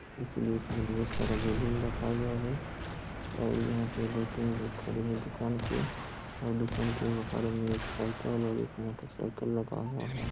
इसलिए इसमें ढेर सारा बैलून रखा गया है और यहां पर दो तीन लोग खड़े हैं दुकान पे और दुकान के बहार में एक साइकिल और एक मोटरसाइकिल लगा हुआ है।